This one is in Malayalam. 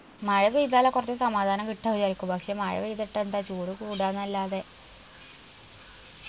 മഴ പെയ്‌താല കൊറച്ച് സമാധാനം കിട്ടാ വിചാരിക്കു പക്ഷെ മഴ പെയ്തിട്ടെന്താ ചൂട് കൂടാന്നെല്ലാതെ